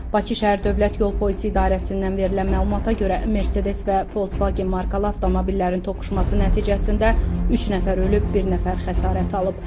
Bakı şəhər Dövlət Yol Polisi İdarəsindən verilən məlumata görə, Mercedes və Volkswagen markalı avtomobillərin toqquşması nəticəsində üç nəfər ölüb, bir nəfər xəsarət alıb.